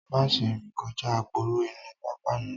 Má ṣe rìn kọjá aporo inú pápá náà